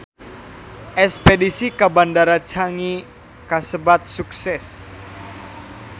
Espedisi ka Bandara Changi kasebat sukses